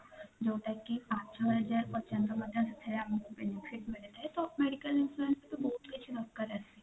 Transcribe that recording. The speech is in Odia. ଯୋଉଟା କି ପାଞ୍ଚ ହଜାର ପର୍ଯ୍ୟନ୍ତ ଥାଏ ତ ଆମକୁ benefit ମିଳିଥାଏ ତ medical insurance ରେ ତ ବହୁତ କିଛି ଦରକାର ଆସେ